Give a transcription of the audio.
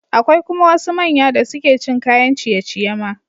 Akwai kuma wasu manya da suke cin kayan ciye-ciye ma.